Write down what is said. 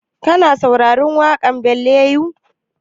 Ka saurari waƙan ballad yau?